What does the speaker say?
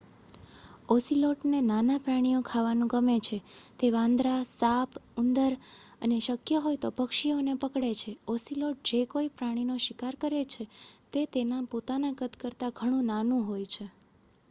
ઑસિલૉટને નાનાં પ્રાણીઓ ખાવાનું ગમે છે તે વાંદરાં સાપ ઉંદર અને શક્ય હોય તો પક્ષીઓને પકડે છે ઑસિલૉટ જે કોઈ પ્રાણીનો શિકાર કરે છે તે તેના પોતાના કદ કરતાં ઘણું નાનું હોય છે